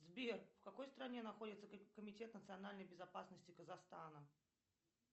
сбер в какой стране находится комитет национальной безопасности казахстана